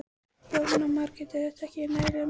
Jóhanna Margrét: Er þetta ekki nægilega mikið?